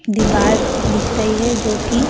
दिवार दिख रही है जो की--